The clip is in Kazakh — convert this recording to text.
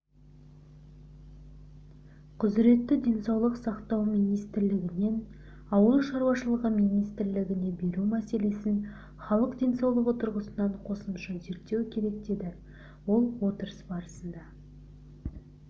құзыретті денсаулық сақтау министрлігінен ауыл шаруашылығы министрлігіне беру мәселесін халық денсаулығы тұрғысынан қосымша зерттеу керек деді ол отырыс барысында